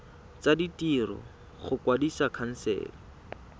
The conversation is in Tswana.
tsa ditiro go kwadisa khansele